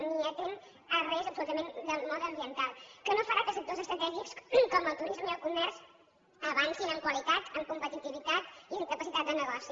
ni atén res absolutament del mode ambiental que no farà que sectors estratègics com el turisme i el comerç avancin en qualitat en competitivitat i en capacitat de negoci